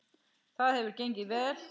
Það hefur gengið vel.